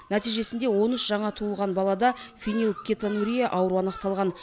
нәтижесінде он үш жаңа туылған балада фенилкетонурия ауруы анықталған